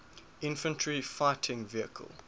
infantry fighting vehicle